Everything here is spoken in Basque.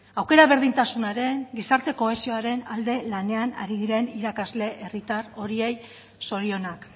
aukera berdintasunaren gizarte kohesioaren alde lanean ari diren irakasle herritar horiei zorionak